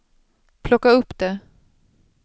plocka upp det